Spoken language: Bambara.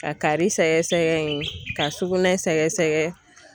Ka kari sɛgɛsɛgɛ in, ka sugunɛ sɛgɛsɛgɛ.